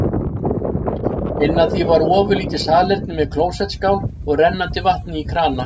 Inn af því var ofurlítið salerni með klósettskál og rennandi vatni í krana.